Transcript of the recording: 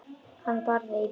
Hann barði í borðið.